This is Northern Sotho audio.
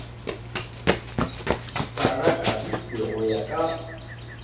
sa rakariki go ya ka